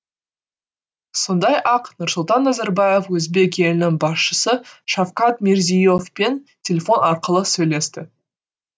сондай ақ нұрсұлтан назарбаев өзбек елінің басшысы шавкат мирзие евпен телефон арқылы сөйлесті